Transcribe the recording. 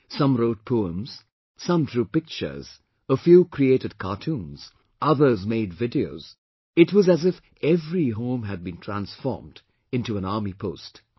Some wrote poems, some drew pictures, a few created cartoons, others made videos; it was as if every home had been transformed into an army post